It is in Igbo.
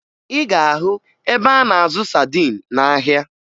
Ị ga-ahụ ebe a na-azụ sadin n'ahịa